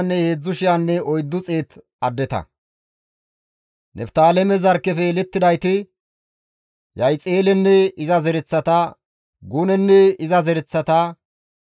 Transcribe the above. Niftaaleme zarkkefe yelettidayti, Yahixelenne iza zereththata, Gunenne iza zereththata,